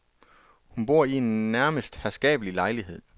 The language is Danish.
Hun bor i en nærmest herskabelig lejlighed.